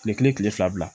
Kile kelen kile fila bila